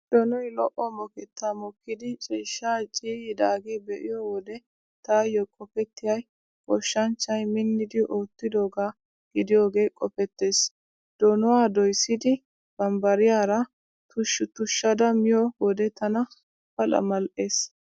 Donoy lo'o mokettaa mokkidi ciishshaa ciiyyidaagaa be'iyo wode taayyo qopettiyay goshshanchchay minnidi oottidoogaa gidiyoogee qopettees. Donuwaa doyssidi bambbariyaara tusha tushada miyo wode tana pala mal'ees.